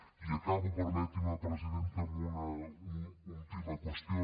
i acabo permeti’m presidenta amb una última qüestió